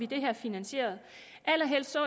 det her finansieret allerhelst så